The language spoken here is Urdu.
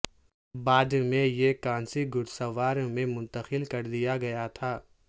بعد میں یہ کانسی گھڑ سوار میں منتقل کر دیا گیا تھا